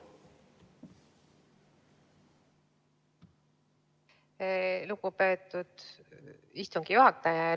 Lugupeetud istungi juhataja!